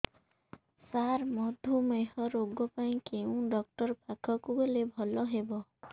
ସାର ମଧୁମେହ ରୋଗ ପାଇଁ କେଉଁ ଡକ୍ଟର ପାଖକୁ ଗଲେ ଭଲ ହେବ